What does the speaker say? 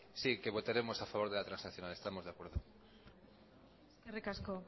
sí que votaremos a favor de la transaccional estamos de acuerdo eskerrik asko